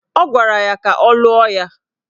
Ọ gwara ya ka ọ lụọ ya